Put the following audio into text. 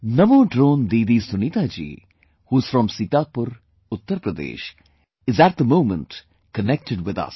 Namo Drone Didi Sunita ji, who's from Sitapur, Uttar Pradesh, is at the moment connected with us